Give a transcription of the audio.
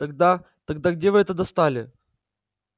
тогда тогда где вы это достали